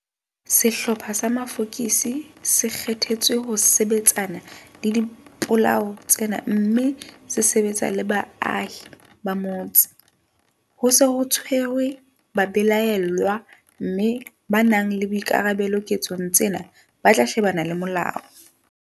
Sehlopha sa mafokisi se kgethetswe ho sebetsana le dipolao tsena mme se sebetsa le baahi ba motse. Ho se ho tshwerwe babelaellwa mme ba nang le boikarabelo ketsong tsena ba tla shebana le molao.